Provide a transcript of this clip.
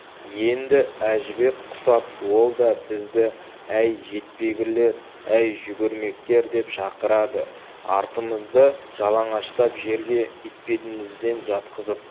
енді әжібек құсап ол да бізді әй жетпегірлер әй жүгірмектер деп шақырады артымызды жалаңаштап жерге етбетімізден жатқызып